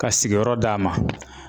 Ka sigiyɔrɔ d'a ma